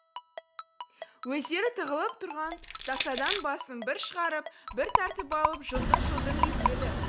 өздері тығылып тұрған тасадан басын бір шығарып бір тартып алып жылтың жылтың етеді